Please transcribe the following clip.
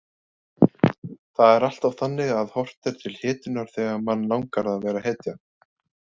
Það er alltaf þannig að horft er til hetjunnar þegar mann langar að vera hetja.